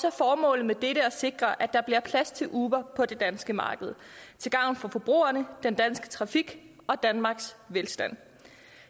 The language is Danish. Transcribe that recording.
er formålet med dette at sikre at der bliver plads til uber på det danske marked til gavn for forbrugerne den danske trafik og danmarks velstand